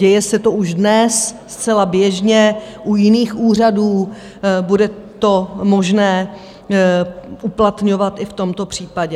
Děje se to už dnes zcela běžně u jiných úřadů, bude to možné uplatňovat i v tomto případě.